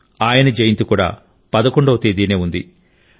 ఆయన జయంతి కూడా 11 వ తేదీనే ఉంది